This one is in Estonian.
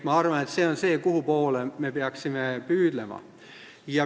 Ma arvan, et sinnapoole me peaksime püüdlema.